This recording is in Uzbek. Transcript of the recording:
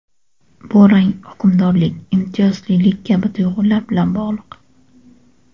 Bu rang hukmdorlik, imtiyozlilik kabi tuyg‘ular bilan bog‘liq.